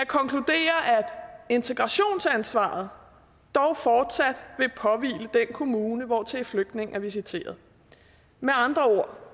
integrationsansvaret dog fortsat vil påhvile den kommune hvortil flygtningen er visiteret med andre ord